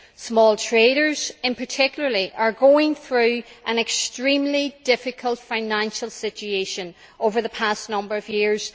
Small traders in particular have been going through an extremely difficult financial situation over the past number of years.